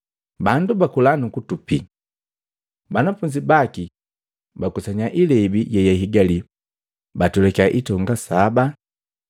Bandu bakula, nukutupi. Banafunzi baki bakusanya ilebi yeyahigali batwelakya itonga saba.